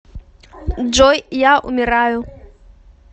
джой я умираю